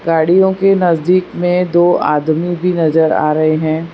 साड़ियों के नजदीक में दो आदमी भी नजर आ रहे हैं।